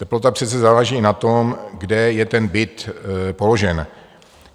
Teplota přece záleží na tom, kde je ten byt položen.